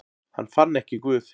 Hann fann ekki Guð.